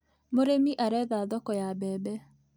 Mũrĩmi aretha thoko ya mbembe.